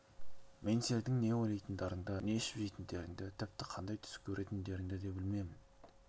мен сендердің не ойлайтындарыңды не ішіп не жейтіндеріңді тіпті қандай түс көретіндіктеріңді де білемін